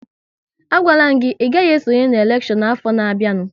A gwala m gị, ị gaghị esonye n'elekshọn afọ na-bịanụ!